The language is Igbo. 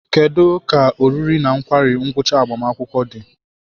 Kedu ka oriri na nkwari ngwucha agbamakwụkwọ di?